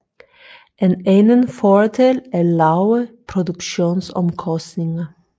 En anden fordel er lave produktionsomkostninger